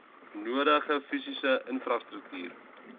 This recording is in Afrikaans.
nodige fisiese infrastruktuur